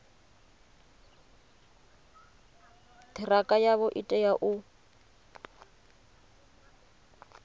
ṱhirakha yavho i tea u